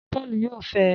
Paul yóò fẹe